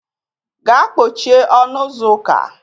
Gaa kpochie ọnụ ụzọ ụka.